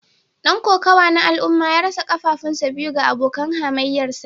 Dan kokawa na al'umma ya rasa kafafunsa biyu ga abokin hamayyarsa